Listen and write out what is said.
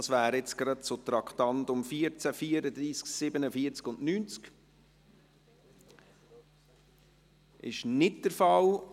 Das wäre jetzt gerade zu den Traktanden 14, 34, 47 und 90. – Das ist nicht der Fall.